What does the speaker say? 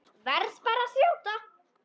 Verð bara að þjóta!